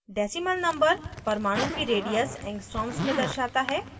decimal number परमाणु की radius angstroms में दर्शाता है